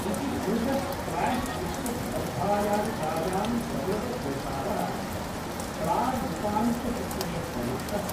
इति पुरुष स्क्वाश् विश्व स्पर्धायालिकायां सौरवघोषाल: प्रागुपन्त्यचक्रे प्रविष्टः।